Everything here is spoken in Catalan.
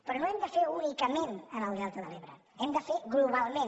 però no ho hem de fer únicament en el del·ta de l’ebre ho hem de fer globalment